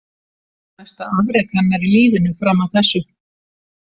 Mesta afrek hennar í lífinu fram að þessu.